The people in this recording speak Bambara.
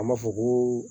An b'a fɔ ko